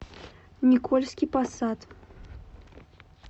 никольский посад